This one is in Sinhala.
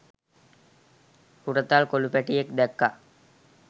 හුරතල් කොලු පැටියෙක් දැක්ක.